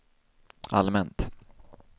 allmänt